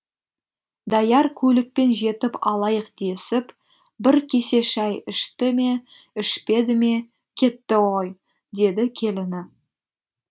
даяр көлікпен жетіп алайық десіп бір кесе шай ішті ме ішпеді ме кетті ғой деді келіні